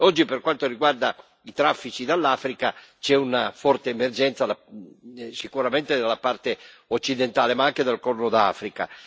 Oggi, per quanto riguarda i traffici dall'Africa, c'è una forte emergenza sicuramente dalla parte occidentale, ma anche dal Corno d'Africa.